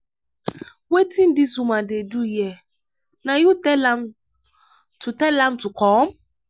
wetin dis woman dey do here? na you tell am to tell am to come?